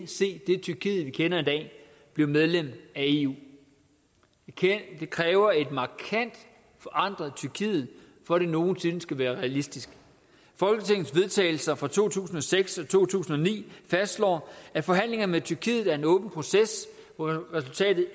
tyrkiet vi kender i dag blive medlem af eu det kræver et markant forandret tyrkiet for at det nogen sinde skal være realistisk folketingets vedtagelser fra to tusind og seks og to tusind og ni fastslår at forhandlinger med tyrkiet er en åben proces hvor resultatet